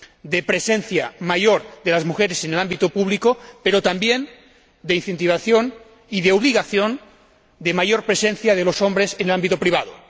de presencia mayor de las mujeres en el ámbito público, pero también de incentivación y de obligación de mayor presencia de los hombres en el ámbito privado.